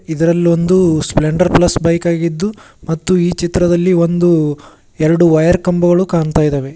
ಇದರಲ್ಲೊಂದು cylinder plus bike ಆಗಿದ್ದು ಮತ್ತು ಈ ಚಿತ್ರದಲ್ಲಿ ಒಂದು ಎರಡು ವಯರ್ ಕಂಬಗಳು ಕಾಣ್ತಾ ಇದ್ದಾವೆ.